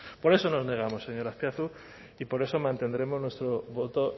por eso nos negamos señor azpiazu y por eso mantendremos nuestro voto